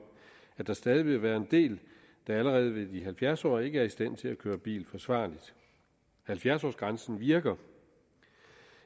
at der stadig vil være en del der allerede ved de halvfjerds år ikke er i stand til at køre bil forsvarligt halvfjerds årsgrænsen virker